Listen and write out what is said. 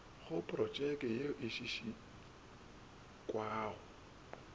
go protšeke ye e šekašekwago